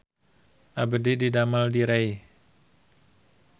Abdi didamel di Rei